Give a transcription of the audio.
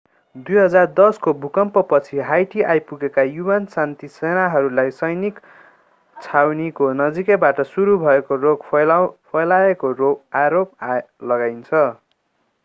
2010 को भूकम्पपछी हाइटी आइपुगेका un शान्ति सेनाहरूलाई सैनिक छाउनीको नजिकैबाट सुरु भएको रोग फैलाएको आरोप लगाइन्छ